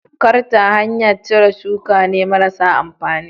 Karta hanyar cire suka ne marasa amfani.